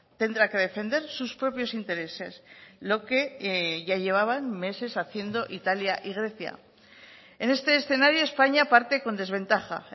tendrá que defender sus propios intereses lo que ya llevaban meses haciendo italia y grecia en este escenario españa parte con desventaja